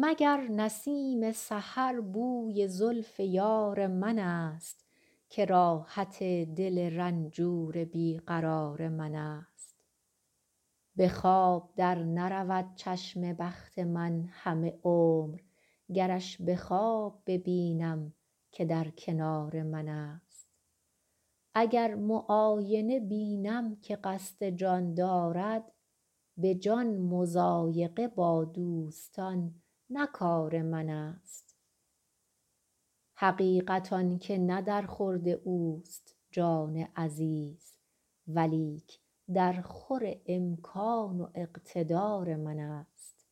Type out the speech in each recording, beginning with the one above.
مگر نسیم سحر بوی زلف یار منست که راحت دل رنجور بی قرار منست به خواب در نرود چشم بخت من همه عمر گرش به خواب ببینم که در کنار منست اگر معاینه بینم که قصد جان دارد به جان مضایقه با دوستان نه کار منست حقیقت آن که نه در خورد اوست جان عزیز ولیک درخور امکان و اقتدار منست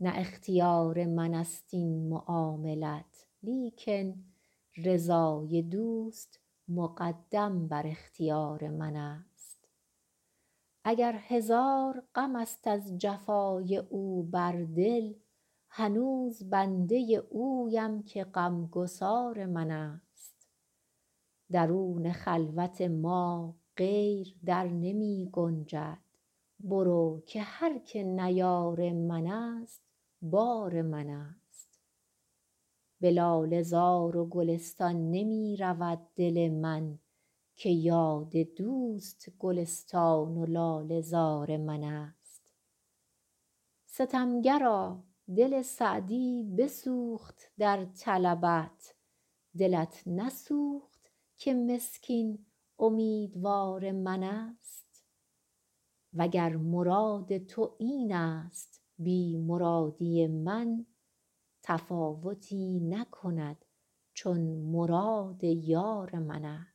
نه اختیار منست این معاملت لیکن رضای دوست مقدم بر اختیار منست اگر هزار غمست از جفای او بر دل هنوز بنده اویم که غمگسار منست درون خلوت ما غیر در نمی گنجد برو که هر که نه یار منست بار منست به لاله زار و گلستان نمی رود دل من که یاد دوست گلستان و لاله زار منست ستمگرا دل سعدی بسوخت در طلبت دلت نسوخت که مسکین امیدوار منست و گر مراد تو اینست بی مرادی من تفاوتی نکند چون مراد یار منست